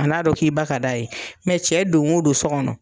A n'a dɔn k'i ba ka d'a ye cɛ don wo don so kɔnɔ.